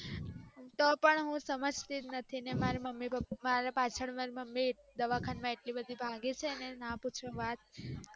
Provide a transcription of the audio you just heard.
તો પણ હું સમાજ તીજ નથી ને મારા મમ્મી ને પાપા ને પાચલ ને દવાખાના માં એટલી ભાગી છે ને ના પૂછો વાત